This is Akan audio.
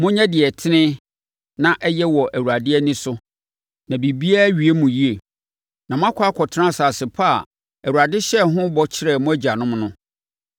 Monyɛ deɛ ɛtene na ɛyɛ wɔ Awurade ani so na biribiara awie mo yie. Na moakɔ akɔtena asase pa a Awurade hyɛɛ ho bɔ kyerɛɛ mo agyanom no.